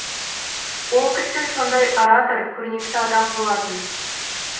ол кісі сондай оратор көрнекті адам болатын